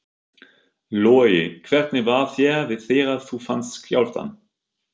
Logi: Hvernig var þér við þegar þú fannst skjálftann?